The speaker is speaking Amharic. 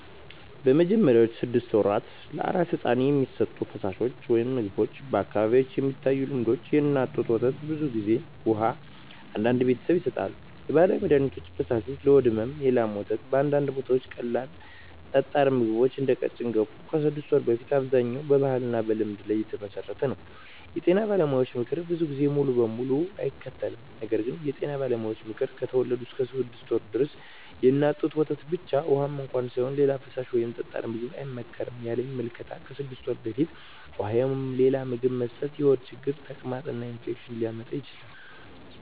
በመጀመሪያዎቹ 6 ወራት ለአራስ ሕፃን የሚሰጡ ፈሳሾች/ምግቦች በአካባቢዎች የሚታዩ ልምዶች፦ የእናት ጡት ወተት (ብዙ ጊዜ) ውሃ (አንዳንድ ቤተሰቦች ይሰጣሉ) የባህላዊ መድሀኒት ፈሳሾች (ለሆድ ሕመም) የላም ወተት (በአንዳንድ ቦታዎች) ቀላል ጠጣር ምግቦች (እንደ ቀጭን ገንፎ) ከ6 ወር በፊት አብዛኛው በባህልና በልምድ ላይ የተመሠረተ ነው የጤና ባለሙያዎች ምክር ብዙ ጊዜ ሙሉ በሙሉ አይከተልም ነገር ግን የጤና ባለሙያዎች ምክር፦ ከተወለዱ እስከ 6 ወር ድረስ የእናት ጡት ወተት ብቻ (ውሃም እንኳ ሳይሆን) ሌላ ፈሳሽ ወይም ጠጣር ምግብ አይመከርም ያለኝ ምልከታ ከ6 ወር በፊት ውሃ ወይም ሌላ ምግብ መስጠት የሆድ ችግር፣ ተቅማጥ እና ኢንፌክሽን ሊያመጣ ይችላል